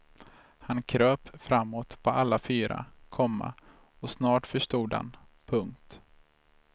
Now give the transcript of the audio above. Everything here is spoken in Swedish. Han kröp framåt på alla fyra, komma och snart förstod han. punkt